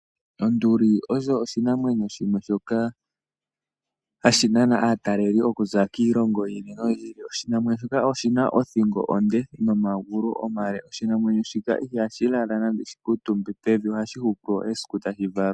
Onduli osho oshinamwenyo shimwe shoka hashi nana aataleli okuza kiilongo yiili noyiili. Oshinamwenyo shoka oshina othingo onde nomagulu omale. Oshinamwenyo shika ihashi lala nenge shi kaatumbe pevi ohashi hupu esiku tashi valwa.